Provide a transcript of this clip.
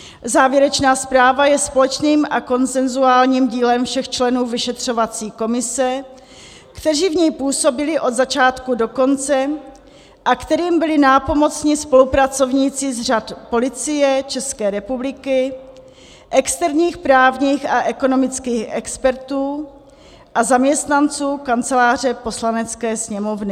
Závěrečná zpráva je společným a konsenzuálním dílem všech členů vyšetřovací komise, kteří v ní působili od začátku do konce a kterým byli nápomocni spolupracovníci z řad Policie České republiky, externích právních a ekonomických expertů a zaměstnanců Kanceláře Poslanecké sněmovny.